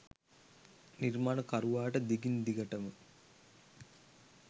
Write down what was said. නිර්මාණකරුවාට දිගින් දිගටම